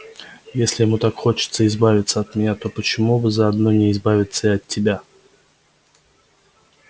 если ему так хочется избавиться от меня то почему бы заодно не избавиться и от тебя